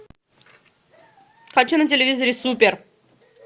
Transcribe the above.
хочу на телевизоре супер